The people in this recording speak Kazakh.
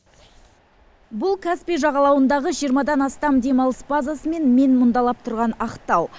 бұл каспий жағалауындағы жиырмадан астам демалыс базасымен мен мұндалап тұратын ақтау